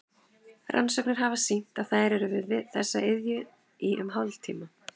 Rannsóknir hafa sýnt að þær eru við þessa iðju í um hálftíma.